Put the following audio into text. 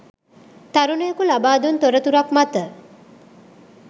තරුණයකු ලබා දුන් තොරතුරක් මත